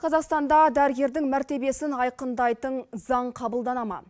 қазақстанда дәрігердің мәртебесін айқындайтын заң қабылдана ма